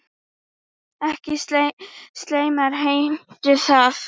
Ekki slæmar heimtur það.